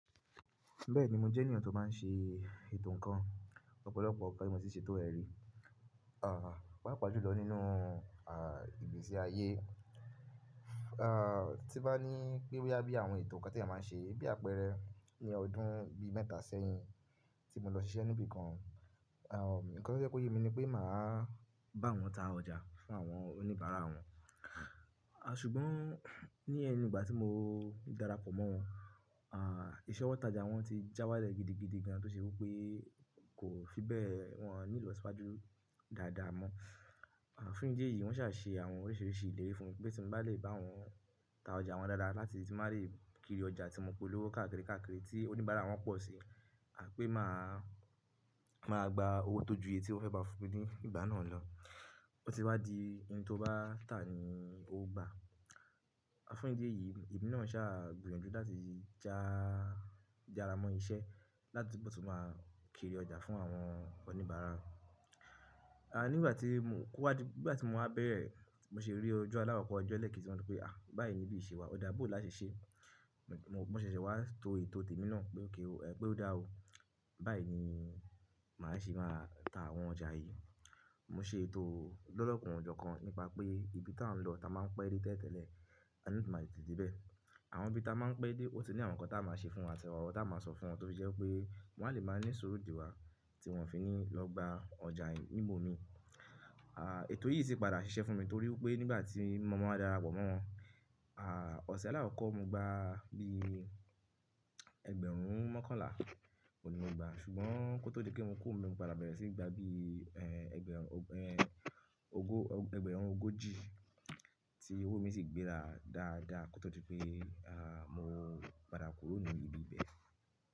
Bẹ́ẹ̀ni, mo jẹ́ ènìyàn tó má n ṣe ètò ńǹkan, ọ́pọ̀lọpọ̀ nnkan ni mo ti ṣe ètò ẹrí. À, pàápàá jùlọ nínú, à, ìgbésí ayé. À, tí n bá ní pé boya bí àwọn ètò ńǹkan ti eeyan máa n ṣe, bí àpẹẹrẹ ni ọdún bí mẹ́ta sẹ́yìn tí mo lọ ṣiṣẹ́ níbi kan. Nǹkan tó je ko yé mi ni pé màá bá wọn ta ọjà fún àwọn oníbàárà wọn. Ṣùgbọ́n ní ẹnu ìgbà tí mo darapọ̀ mọ́ wọn, iṣe ọ̀wọ́ taja wọn ti já wálẹ̀ gidigidi gan an tó ṣe wipé kó fi bẹ́ẹ̀ wọn nílò siwájú dáadáa mọ́. Fún ìdí èyí wọ́n ṣà ṣe àwọn oríṣìríṣì ìlérí fún mi pé tí mo bá lè bá wọn ta ọjà wọn dáadáa láti ti n bá lè kiri ọjà tí mo pé olówó káàkiri káàkiri tí oníbàárà wọn pọ̀ si, à pẹ́ máa, máa gba owó tó ju èyí tí wọ́n fẹ́ má fún mí ni ìgbà náà lọ. Ó ti wá di ohun tó bá tà ni ó gba. Fún ìdí èyí, èmi náà ṣà gbìyànjú láti já, jára mọ́ iṣẹ́ láti bo tún máa kiri ọjà fún àwọn oníbàárà. À nígbà tí mo kúwá di, nígbà tí mo máa bẹ̀rẹ̀, mo ṣe rí ojú aláwọ̀ kọ̀ ọjọ́ ẹ̀kẹ́ tí wọn pé pé, à báyìí ni bí ìṣe wa, ọ̀dá bò láti ṣe. Mo ṣẹ̀ṣẹ̀ wá to ètò tèmi náà ókè o, ẹ pé ó dáa o. Báyìí ni màá ṣe máa ta àwọn ọjà yìí. Mo ṣe ètò lọ́lọ́kan ojọ́ kan nípa pé ibi tá n lọ tá máa ń pẹ́ dé tẹ́lẹ̀tele, a le tete máa de ibẹ̀. Àwọn ibi tá máa ń pẹ́ dé ó ti ní àwọn ńǹkan tá máa ṣe fún wọn, àti oro tá máa sọ fún wọn tó jẹ́ pé wọn lè máa ní ìsuru de wa tí wọn fi ní lọ gba ọjà yìí níbomi. À, ètò yìí sì padà ṣiṣẹ́ fún mi torí pé nígbà tí mo máa darapọ̀ mọ́ wọn, à, ọ̀ṣẹ́ alákọ̀ kọ́ mo gbà bí ẹgbẹ̀rún mọ́kànlá. Òun ní mo gbà. Ṣùgbọ́n kó tó di pé kí n kuro mo padà bẹ̀rẹ̀ sí í gbà bí, ẹ́ẹ́, ẹgbẹ̀rún, ẹ́ẹ́, ogó, ẹgbẹ̀rún ógojì tí owó mi sì gbéra dáadáa kó tó di pé, à, mo padà kúrò ní ibi ibẹ̀.